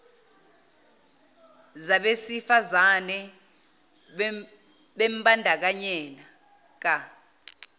zabesi fazane bembandakanyeka